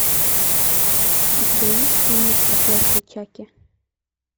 у тебя есть фильмик проклятие чаки